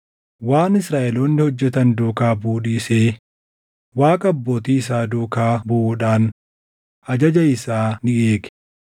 waan Israaʼeloonni hojjetan duukaa buʼuu dhiisee Waaqa abbootii isaa duukaa buʼuudhaan ajaja isaa ni eege.